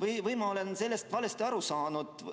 või olen ma sellest valesti aru saanud.